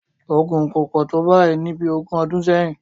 Ogun kò pò tó báyìí ní bí ogún ọdún sẹ́yìn